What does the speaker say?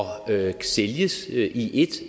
sælges i